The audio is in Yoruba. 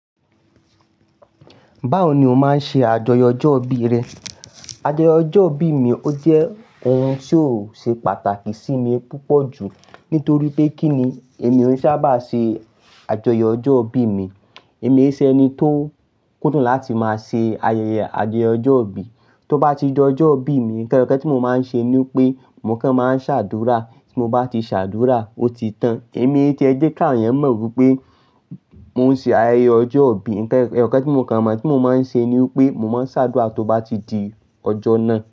Báwo ni o máa ń ṣe àjọyọ̀ ọjọ́ ìbí rẹ? Àjọyọ̀ ọjọ́ ìbí mi ó jẹ́ ohun tí ó ṣe pàtàkì sí mi púpọ̀ jù. Nítorí pé kí ni èmi ò ṣábà ṣe àjọyọ̀ ọjọ́ ìbí mi. Èmi ṣe ẹni tó kúndùn láti máa ṣe ayẹyẹ àjọyọ̀ ọjọ́ ìbí. Tó bá ti di ọjọ́ ìbí mi, ǹkan lókè tí mo máa ń ṣe ni pé mò kàn máa ń ṣàdúrà. Tí mo bá ti ṣàdúrà, ó ti tán. Èmi e tí ẹ jẹ́ ká àwon eyan mọ̀ wípé mo ń ṣe ayẹyẹ ọjọ́ ìbí. Ǹkan eyokan tí mo kàn mọ̀ tí mo máa ń ṣe ni wípé mo máa ń ṣàdúrà tó bá ti di ọjọ́ náà.